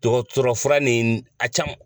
Dɔgɔtɔrɔfura ni a caman